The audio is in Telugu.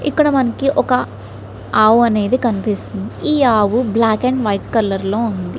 ఇక్కడ మనకు ఒక ఆవు అనేది కనిపిస్తుంది మనకు. ఈ ఆవు బ్లాక్ అండ్ వైట్ లో కనిపిస్తుంది.